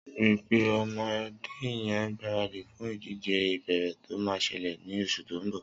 Ri pé ọmọdé yèn gbàrádí fún idijé ìbééré tó mà ṣẹlẹ ni óṣú tó n bọ